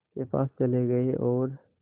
के पास चले गए और